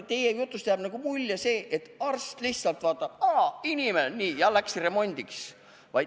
Teie jutust jääb selline mulje, et arst lihtsalt vaatab, et aa, inimene, nii, ja läheb remondiks.